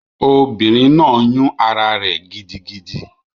Obìnrin náà yún ará rẹ̀ gidigidi